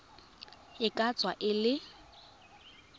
e ka tswa e le